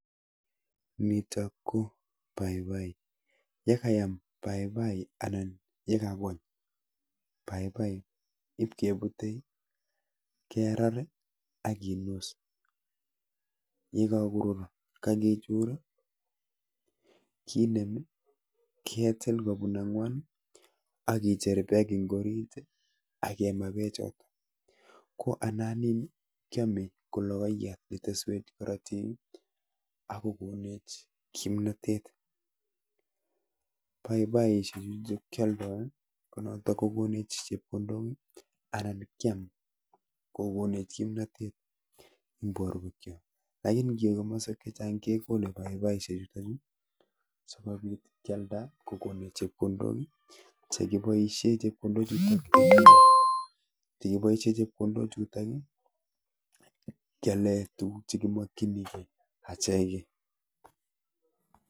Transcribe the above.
Nitok ko paipai. Yekayam paipai anan yekagony paipai ibkebute, kerar ii ak kinus. Yekagorur, kagichur kinem, ketil kobun ang'wan akicher peek eng orit akema pechot. Ko ana nin kiyame ku logoyat neteswech korotik akogonech kimnatet. Paipaishek chu chekyoldoi ko notok kokonech chepkondok anan kiam kokonech kimnatet eng borwekcho. Lakini ngiwe kimaswek chechang kegole paipaishek chuto chu sigobit kyalda kokonech chepkondok ii, chekiboisie chepkondok chuto, chekiboisie chepkondok chutok ii kyale tuguk chekimokchingei achegei.